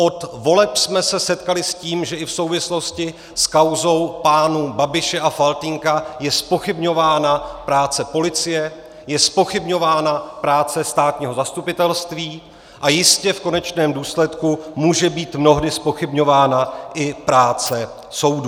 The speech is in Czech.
Od voleb jsme se setkali s tím, že i v souvislosti s kauzou pánů Babiše a Faltýnka je zpochybňována práce policie, je zpochybňována práce státního zastupitelství a jistě v konečném důsledku může být mnohdy zpochybňována i práce soudů.